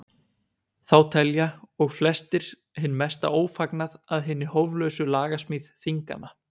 Þá telja og flestir hinn mesta ófagnað að hinni hóflausu lagasmíð þinganna.